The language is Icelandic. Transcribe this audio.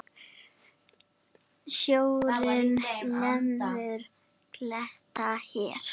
Sjórinn lemur kletta hér.